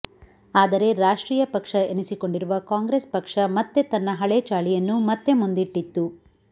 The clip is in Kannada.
ಆದರೆ ರಾಷ್ಟ್ರೀಯ ಪಕ್ಷ ಎನಿಸಿಕೊಂಡಿರುವ ಕಾಂಗ್ರೆಸ್ ಪಕ್ಷ ಮತ್ತೆ ತನ್ನ ಹಳೇ ಚಾಳಿಯನ್ನು ಮತ್ತೆ ಮುಂದಿಟ್ಟಿತ್ತು